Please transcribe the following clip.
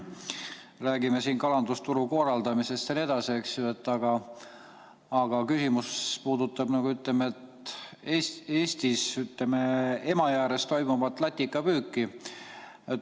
Räägime siin kalandusturu korraldamisest jne, aga küsimus puudutab Eestis Emajõe ääres toimuvat latikapüüki.